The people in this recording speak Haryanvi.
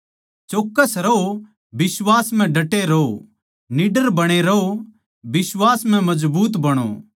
चौक्कस रहो बिश्वास म्ह डटे रहो निडर बणे रहों बिश्वास म्ह मजबूत बणो